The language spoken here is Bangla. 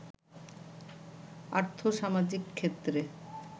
আর্থ-সামাজিক ক্ষেত্রে